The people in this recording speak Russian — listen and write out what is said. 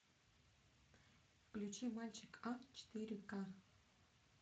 включи мальчик а четыре ка